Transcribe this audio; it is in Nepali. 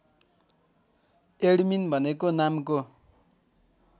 एडमिन भनेको नामको